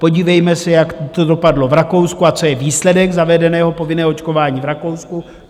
Podívejme se, jak to dopadlo v Rakousku a co je výsledek zavedeného povinného očkování v Rakousku.